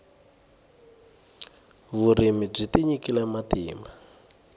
vurimi byi tinyikile matimba